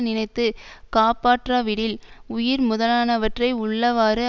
நினைத்து காப்பாற்றாவிடில் உயிர் முதலானவற்றை உள்ளவாறு